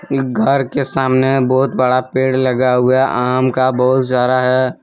इक घर के सामने बहुत बड़ा पेड़ लगा हुआ है आम का बहुत जारा है।